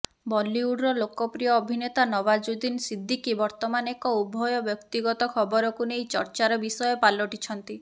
ବଲିଉଡର ଲୋକପ୍ରିୟ ଅଭିନେତା ନଓ୍ବାଜୁଦ୍ଦିନ୍ ସିଦ୍ଦିକି ବର୍ତ୍ତମାନ ଏକ ଉଭୟ ବ୍ୟକ୍ତିଗତ ଖବରକୁ ନେଇ ଚର୍ଚ୍ଚାର ବିଷୟ ପାଲିଟିଛନ୍ତି